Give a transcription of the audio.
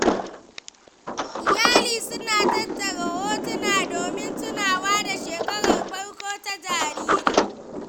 Iyali suna tattara hotuna domin tunawa da shekarar farko ta jariri.